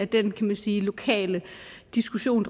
den kan man sige lokale diskussion